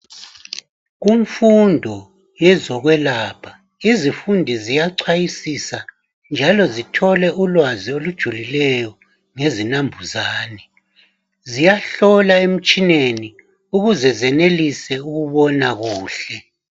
Kumfundo yezokwelapha izifundi ziyachwayisisa njalo zithole ulwazi olujulileyo ngezinambuzane ziyahlola emitshineni ukuze zenelise ukubona kuhle.